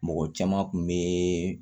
Mɔgɔ caman kun be